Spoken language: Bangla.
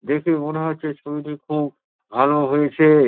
দেখে মনে হচ্ছে ছবিটি খুব ভালো হয়েছে ।